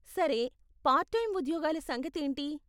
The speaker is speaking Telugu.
సరే, పార్ట్ టైం ఉద్యోగాల సంగతి ఏంటి?